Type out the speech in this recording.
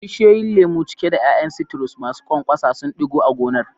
Bishiyoyin lemu, cike da ƴaƴan citrus masu ƙwanƙwasa, sun ɗigo a gonar.